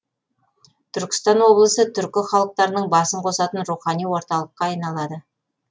түркістан облысы түркі халықтарының басын қосатын рухани орталыққа айналады